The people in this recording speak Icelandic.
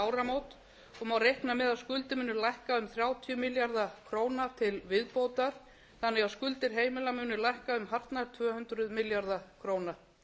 áramót og má reikna með að skuldir muni lækka um þrjátíu milljarða til viðbótar þannig að skuldir heimila munu lækka um hartnær tvö hundruð milljarða króna